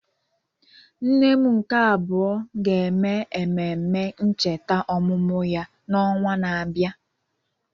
Nne m nke abuo ga-eme ememme ncheta ọmụmụ ya n'ọnwa na-abịa.